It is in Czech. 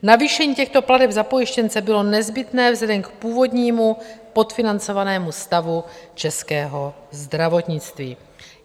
Navýšení těchto plateb za pojištěnce bylo nezbytné vzhledem k původnímu podfinancovanému stavu českého zdravotnictví.